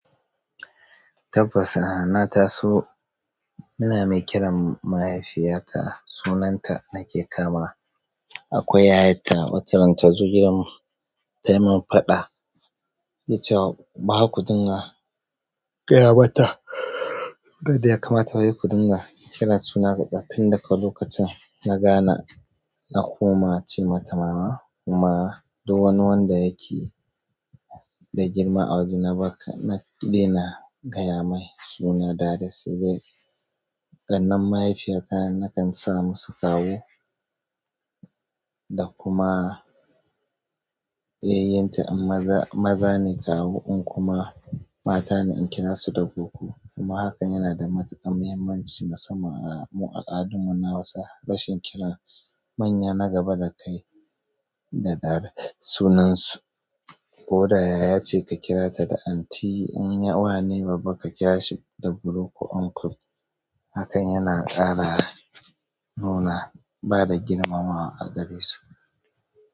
Tabbas na taso ina mai kiran mahaifiyata sunanta nake kamawa. Akwai yayata wataran tazo gidan mu tayi mun faɗa, tace wai bara kuɗinga, qayamata. Da ya kamata ba sa kuɗinga. Kira sunan qatsau tun daga lokacin na gane na koma che mata mama kuma duk wani wanda yake da girma a waje na ɗina gaya mai suna direct sai dai ƙannen mahaifiyata nakan sa masu kawu. Da kuma yayyinta in maza ne kawu in kuma mata ne in kira su da goggo. Kuma hakan yana da matuƙar muhimmanci musamman a mu al'adun mu na Hausa. Rashin kira manya na gaba da kai da da sunansu ko da yaya ce ka kira ta da anti in wa ne babba ka kira shi da bro ko uncle. Hakan yana ƙara nuna bada girmamawa a gare su.